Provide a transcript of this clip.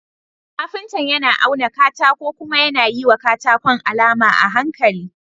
Kafinta yAna auna katako kuma yAna yiwa katakon alama a hankali.